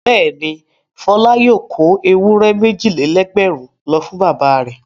Bẹ́ẹ̀ni, Fọlá yóò kó ewúrẹ́ méjì-lé-lẹ́gbẹ̀rún lọ fún bàbá rẹ̀.